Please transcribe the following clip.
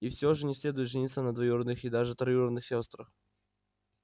и все же не следует жениться на двоюродных и даже троюродных сёстрах